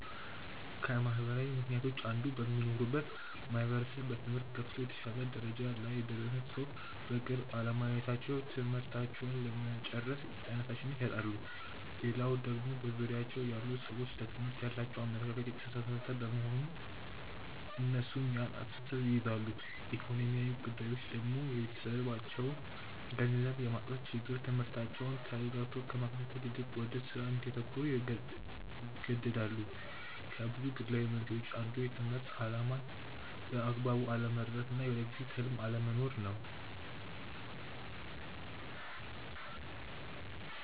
ከማህበራዊ ምክንያቶች አንዱ በሚኖሩበት ማህበረሰብ በትምህርት ገፍቶ የተሻለ ደረጃ ላይ የደረሰን ሰው በቅርብ አለማየታቸው ትምህርታቸውን ለመጨረስ ተነሻሽነት ያጣሉ። ሌላው ደግሞ በዙሪያቸው ያሉ ሰዎች ለትምህርት ያላቸው አመለካከት የተሳሳተ በመሆን እነሱም ያን አስተሳሰብ ይይዛሉ። ኢኮኖሚያዊ ጉዳይ ደግሞ የቤተሰባቸው ገንዘብ የማጣት ችግር ትምህርታቸውን ተረጋግቶ ከመከታተል ይልቅ ወደ ስራ እንዲያተኩሩ ይገደዳሉ። ከብዙ ግላዊ መንስኤዎች አንዱ የትምህርትን አላማ በአግባቡ አለመረዳት እና የወደፊት ህልም አለመኖር ነው።